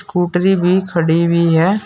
स्कूटरी भी खड़ी हुई है।